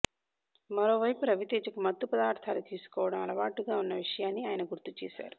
మరో వైపు రవితేజకు మత్తు పదార్ధాలు తీసుకోవడం అలవాటుగా ఉన్న విషయాన్ని ఆయన గుర్తు చేశారు